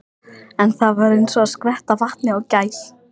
En það var eins og að skvetta vatni á gæs.